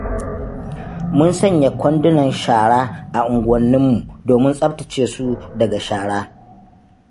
Mun sanya kwandunan shara a unguwanninmu, domin tsaftace su daga shara.